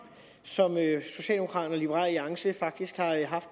som socialdemokraterne og liberal alliance faktisk